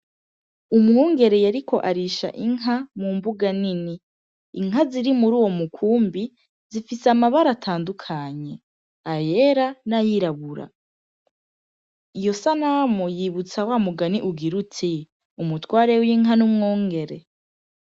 Umwongereye, ariko arisha inka mu mbuga nini inka ziri muri uwo mukumbi zifise amabara atandukanye ayera n'ayirabura iyo sanamu yibutsa wa mugani ugira uti umutware w'inka n'umwongere.